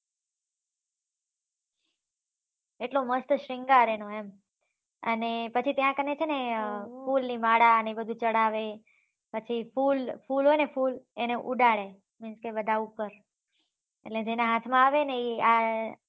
એટલો મસ્ત શ્રીંગાર એનો એમ અને પછી ત્યા કને છે ને ફૂલ ની માળા અને બધું ચડાવે પછી ફૂલ ફૂલ હોય ને ફૂલ એને ઉડાડે કે બધા ઉપર એટલે જેના હાથ માં આવે ને એ આય